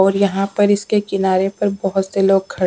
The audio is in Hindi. और यहां पर इसके किनारे पर बहुत से लोग।